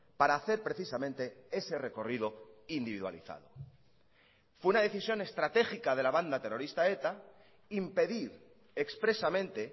para hacer precisamente ese recorrido individualizado fue una decisión estratégica de la banda terrorista eta impedir expresamente